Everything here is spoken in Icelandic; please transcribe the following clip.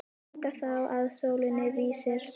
Ganga þá að sólinni vísri.